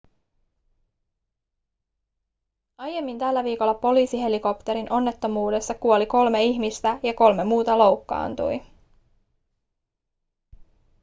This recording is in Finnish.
aiemmin tällä viikolla poliisihelikopterin onnettomuudessa kuoli kolme ihmistä ja kolme muuta loukkaantui